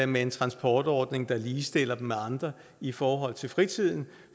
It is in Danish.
med en transportordning der ligestiller dem med andre i forhold til fritiden